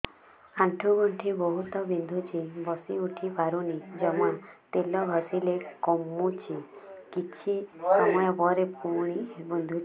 ଆଣ୍ଠୁଗଣ୍ଠି ବହୁତ ବିନ୍ଧୁଛି ବସିଉଠି ପାରୁନି ଜମା ତେଲ ଘଷିଲେ କମୁଛି କିଛି ସମୟ ପରେ ପୁଣି ବିନ୍ଧୁଛି